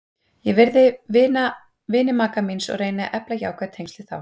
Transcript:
Ég virði vini maka míns og reyni að efla jákvæð tengsl við þá.